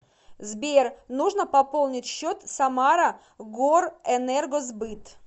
сбер нужно пополнить счет самара горэнергосбыт